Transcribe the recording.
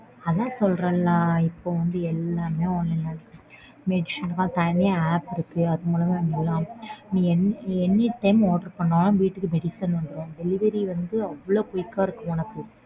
அதான் சொல்றன்ல இப்போ வந்து எல்லாமே online ல இருக்கு. Medicine க்குலாம் தனியா apps இருக்கு. அது மூலமா நீ Anytime order பண்ணாலும் வீட்டுக்கு medicine வந்துரும் Delivery வந்து அவ்ளோ quick ஆ இருக்கும் உனக்கு.